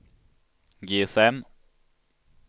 GSM